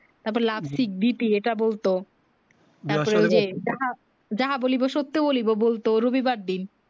তার পর Love sing bp এই টা বলতো যাহা বলিবো সত্য বলিবো বলত রবি বারের দিক